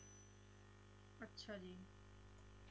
ਅੱਛਾ ਜੀ